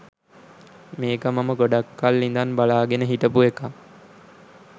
මේක මම ගොඩක් කල් ඉදන් බලාගෙන හිටපු එකක්